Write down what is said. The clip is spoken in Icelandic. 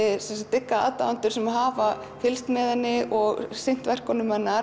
dygga aðdáendur sem hafa fylgst með henni og sinnt verkum hennar